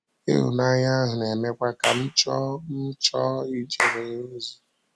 Ịhụnanya ahụ na - emekwa ka m chọọ m chọọ ijere ya ozi.